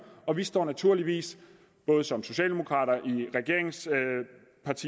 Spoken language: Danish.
og vi står naturligvis både som socialdemokrater